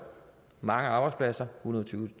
mange arbejdspladser